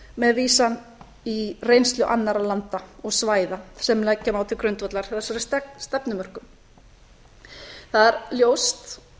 með vísan í reynslu annarra landa eða svæða sem leggja má til grundvallar þessari stefnumörkun það er ljóst